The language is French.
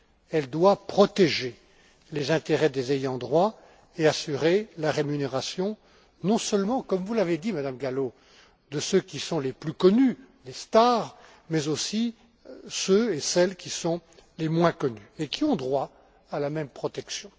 Elle doit protéger les intérêts des ayants droit et assurer la rémunération, non seulement, comme vous l'avez dit, Madame Gallo, de ceux qui sont les plus connus, les stars, mais aussi de ceux et celles qui sont moins connus et qui ont droit à la même protection.